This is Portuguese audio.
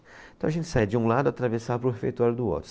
Então a gente sai de um lado, atravessava para o refeitório do outro.